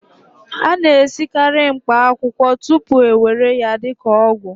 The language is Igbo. a na-esikarị mkpaakwụkwọ tupu a ewere ya dị ka ọgwụ